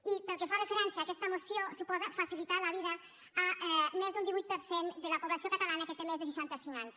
i pel que fa referència a aquesta moció suposa facilitar la vida a més d’un divuit per cent de la població catalana que té més de seixanta cinc anys